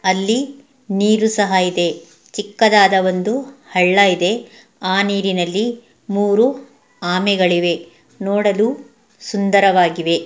ಅಲ್ಲಿ ನೀರು ಸಹ ಇದೆ ಚಿಕ್ಕದಾದ ಒಂದು ಹಳ್ಳ ಇದೆ ಆ ನೀರಿನಲ್ಲಿ ಮೂರು ಆಮೆಗಳಿವೆ ನೋಡಲು ಸುಂದರವಾಗಿವೆ.